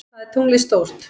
Hvað er tunglið stórt?